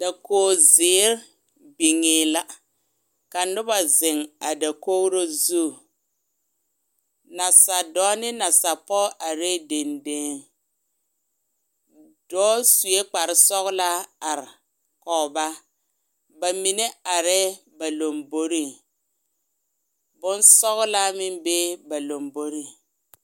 Dakogizeere biŋe la ka noba zeŋ a dakogro zu nasadɔɔ ne nasapɔge arɛɛ dendeŋ dɔɔ sue kparesɔglaa are kɔge ba ba mine arɛɛ ba lamboriŋ bonsɔglaa meŋ bee ba lamboriŋ.